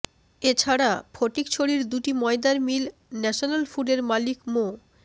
এছাড়া ফটিকছড়ির দুটি ময়দার মিল ন্যাশনাল ফুডের মালিক মো